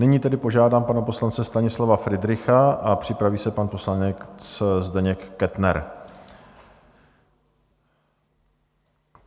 Nyní tedy požádám pana poslance Stanislava Fridricha a připraví se pan poslanec Zdeněk Kettner.